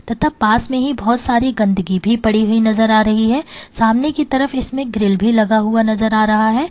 तथा पास में ही बहुत सारी गंदगी भी पड़ी हुई नजर आ रही है सामने की तरफ इसमें ग्रिल भी लगा हुआ नजर आ रहा है।